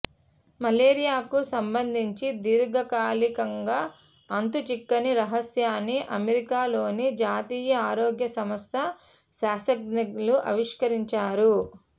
మలేరియాకు సంబంధించి దీర్ఘకాలి కంగా అంతుచిక్కని రహస్యాన్ని అమెరికా లోని జాతీయ ఆరోగ్య సంస్థ శాస్త్రజ్ఞులు ఆవిష్క రించారు